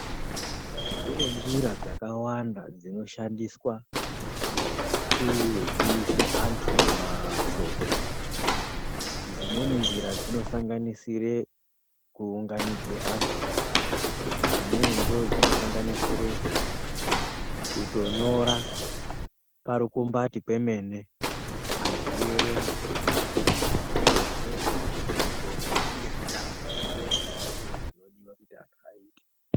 Kunenjira dzakawanda dzinoshandiswa kuziise antu mashoko, dzimweni njira dzinosanganisire kuunganidze antu dzimweni ndodzinosanganisire kutonyora parukombati kwemene antu eyiyerenga dzimwewo ndodzekuti muzvidxoko zvinenge zvineantu zvinenge zvakatakure zvinodiwa kuti antu ayite.